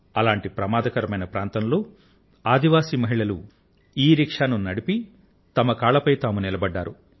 అటువంటి ప్రమాదకరమైన ప్రాంతంలో ఆదివాసి మహిళలు ఇరిక్షా ను నడిపి తమ కాళ్లపై తాము నిలబడ్డారు